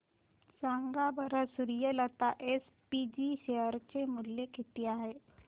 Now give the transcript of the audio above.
सांगा बरं Suryalata SPG share चे मूल्य किती आहे